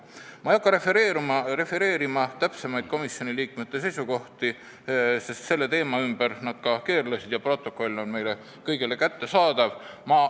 Ma ei hakka refereerima täpsemaid komisjoni liikmete seisukohti, selle teema ümber need keerlesid ja protokoll on meile kõigile kättesaadav.